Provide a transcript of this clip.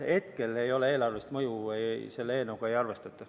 Hetkel eelarvelist mõju selle eelnõu puhul ei arvestata.